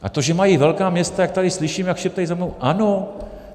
A to, že mají velká města, jak tady slyším, jak šeptají za mnou - ano.